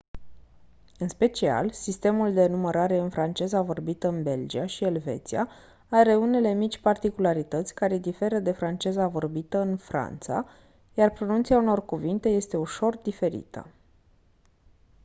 în special sistemul de numărare în franceza vorbită în belgia și elveția are unele mici particularități care diferă de franceza vorbită în franța iar pronunția unor cuvinte este ușor diferită